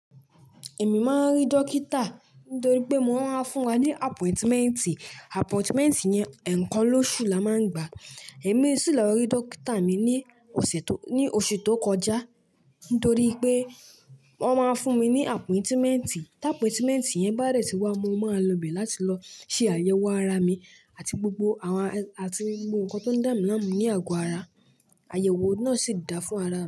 Èmi máa ń rí dókítà nítorí pé wọ́n máa ń fún wa ní appointment. Appointment yẹn eekan lóṣù la máa ń gbà. Èmi sì lọ rí dókítà mi ní ọ̀sẹ̀ tó, ní oṣù tó kọjá nítorí pé wọ́n máa fún mi ní appointment. Tí appointment yẹn bá de tí wá, mo máa lọ ibẹ̀ láti lọ ṣe àyẹ̀wò ara mi àti gbogbo àwọn, àti gbogbo nǹkan tó ń dà mí láàmú ní àgọ ara. Àyẹ̀wò náà sì dáa fún ara.